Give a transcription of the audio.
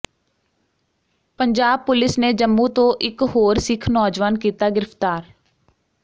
Punjab police ਨੇ ਜੰਮੂ ਤੋਂ ਇਕ ਹੋਰ ਸਿੱਖ ਨੌਜਵਾਨ ਕੀਤਾ ਗਿ੍ਫ਼ਤਾਰ